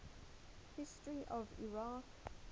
history of iraq